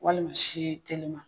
Walima si telima.